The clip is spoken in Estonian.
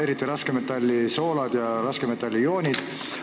Kõik need raskmetallide soolad ja raskmetallide ioonid.